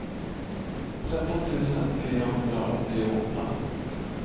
tretton tusen fyrahundraåttioåtta